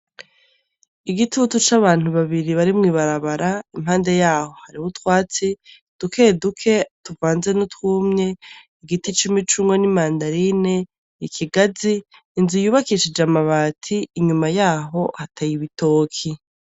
Igitutu c'abantu babiri barimwo ibarabara impande yaho hari ubo utwatsi duke duke tuvanze no twumye igiti cumi c'ungo n'i mandarine ikigazi inzu iyubakishije amabati inyuma yaho hataye ibitoki.